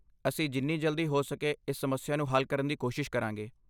ਅਸੀਂ ਜਿੰਨੀ ਜਲਦੀ ਹੋ ਸਕੇ ਇਸ ਸਮੱਸਿਆ ਨੂੰ ਹੱਲ ਕਰਨ ਦੀ ਕੋਸ਼ਿਸ਼ ਕਰਾਂਗੇ।